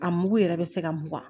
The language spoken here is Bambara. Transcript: A mugu yɛrɛ bɛ se ka mugan